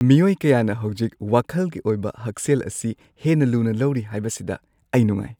ꯃꯤꯑꯣꯏ ꯀꯌꯥꯅ ꯍꯧꯖꯤꯛ ꯋꯥꯈꯜꯒꯤ ꯑꯣꯏꯕ ꯍꯛꯁꯦꯜ ꯑꯁꯤ ꯍꯦꯟꯅ ꯂꯨꯅ ꯂꯧꯔꯤ ꯍꯥꯏꯕꯁꯤꯗ ꯑꯩ ꯅꯨꯡꯉꯥꯏ꯫